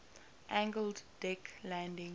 angled deck landing